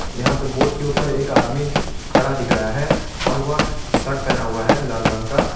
यहां पे बोर्ड के ऊपर एक आदमी खड़ा दिख रहा है और वह शर्ट पहना हुआ है लाल रंग का।